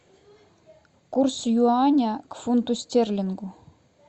курс юаня к фунту стерлингу